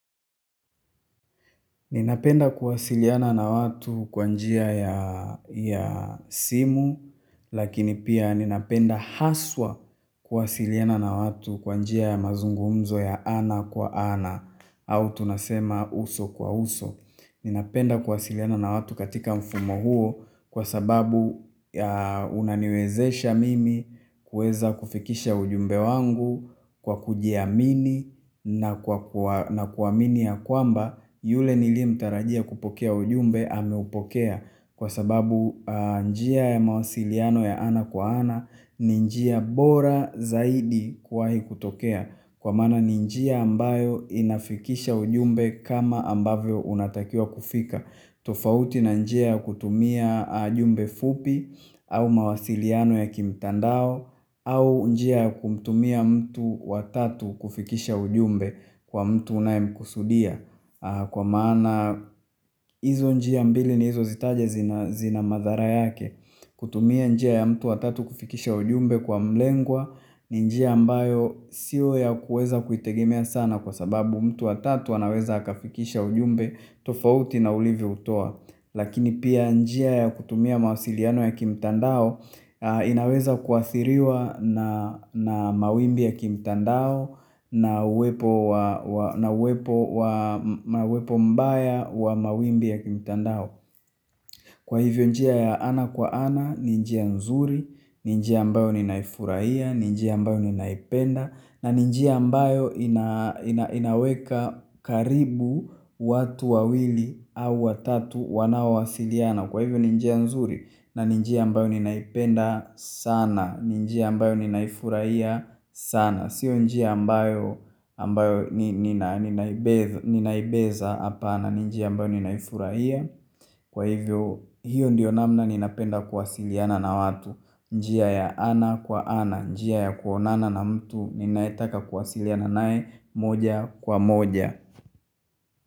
Ninapenda kwasiliana na watu kwa njia ya ya simu, lakini pia ninapenda haswa kwasiliana na watu kwa njia ya mazungumzo ya ana kwa ana, au tunasema uso kwa uso. Ninapenda kuwasiliana na watu katika mfumo huo kwa sababu unaniwezesha mimi kuweza kufikisha ujumbe wangu kwa kujiamini na kuamini ya kwamba yule nilie mtarajia kupokea ujumbe ameupokea. Kwa sababu njia ya mawasiliano ya ana kwa ana ni njia bora zaidi kuahi kutokea. Kwa maana ni njia ambayo inafikisha ujumbe kama ambavyo unatakia kufika. Tofauti na njia kutumia ujumbe fupi. Au mawasiliano ya kimtandao. Au njia ya kumtumia mtu watatu kufikisha ujumbe kwa mtu unayemkusudia kwa maana hizo njia mbili nilizo zitaja zana zina madhara yake. Kutumia njia ya mtu wa tatu kufikisha ujumbe kwa mlengwa. Ni njia ambayo sio ya kuweza kuitegimea sana kwa sababu mtu wa tatu anaweza akafikisha ujumbe tofauti na ulivyo utoa. Lakini pia njia ya kutumia mawasiliano ya kimtandao. Inaweza kuathiriwa na na mawimbi ya kimtandao na uwepo. Na uwepo wa na uwepo mbaya wa mawimbi ya kimtandao. Kwa hivyo njia ya ana kwa ana, ninjia nzuri, ninjia ambayo ninaifurahia, ninjia ambayo ninaipenda na ninjia ambayo ina inaweka karibu watu wawili au watatu wanaowasiliana. Kwa hivyo ni njia nzuri, na ni njia ambayo ninaipenda sana, ni njia ambayo ninaifurahia sana. Siyo njia ambayo ni ni ninaibeza hapana njia ambayo ninaifurahia. Kwa hivyo hiyo ndiyo namna ninapenda kuwasiliana na watu. Njia ya ana kwa ana, njia ya kuonana na mtu ninayetaka kuwasiliana naye moja kwa moja.